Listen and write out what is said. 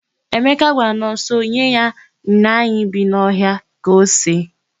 Emeka gwara Nọnso nye ya nnaanyị bi n'ọhịa ka o see.